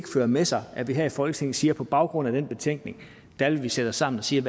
fører med sig at vi her i folketinget siger at på baggrund af den betænkning vil vi sætte os sammen og sige